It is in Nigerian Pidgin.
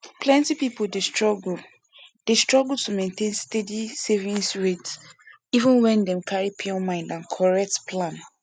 plenty people dey struggle dey struggle to maintain steady savings rate even wen dem carry pure mind and correct plan